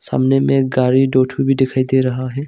सामने में एक गाड़ी दो ठो भी दिखाई दे रहा है।